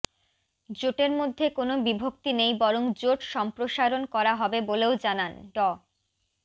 জোটের মধ্যে কোনো বিভক্তি নেই বরং জোট সম্প্রসারণ করা হবে বলেও জানান ড